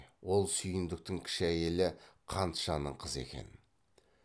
ол сүйіндіктің кіші әйелі қантжанның қызы екен